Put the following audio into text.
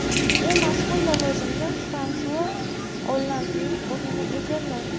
U mazkur lavozimda Fransua Ollandning o‘rnini egalladi.